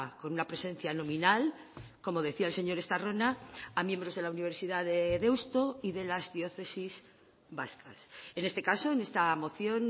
con una presencia nominal como decía el señor estarrona a miembros de la universidad de deusto y de las diócesis vascas en este caso en esta moción